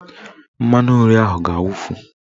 Mmanụnri ahụ ga-awufu